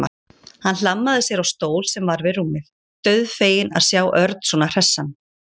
Hann hlammaði sér á stól sem var við rúmið, dauðfeginn að sjá Örn svona hressan.